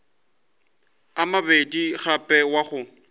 a mabedi gape wa go